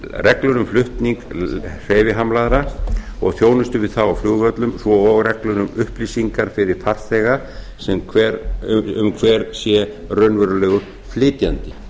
reglur um flutning hreyfihamlaðra og þjónustu við á á flugvöllum svo og reglur um upplýsingar fyrir farþega um hver sé raunverulegur flytjandi